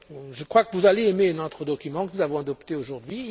Je crois que vous allez aimer notre document que nous avons adopté aujourd'hui.